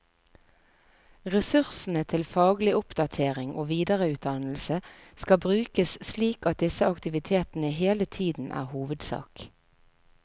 Ressursene til faglig oppdatering og videreutdannelse skal brukes slik at disse aktivitetene hele tiden er hovedsak.